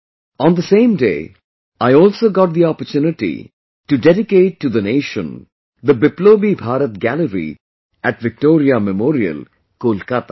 On the same day I also got the opportunity to dedicate to the nation the Biplobi Bharat Gallery at Victoria Memorial, Kolkata